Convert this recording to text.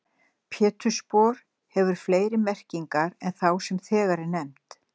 Pétursspor hefur fleiri merkingar en þá sem þegar er nefnd.